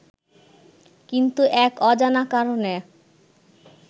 কিন্তু এক অজানা কারণে